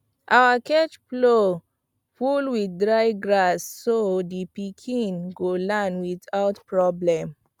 our cage floor full with dry grass so the pikin go land without problem